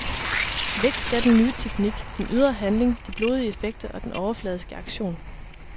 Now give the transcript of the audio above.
Væk skal den nye teknik, den ydre handling, de blodige effekter og den overfladiske action.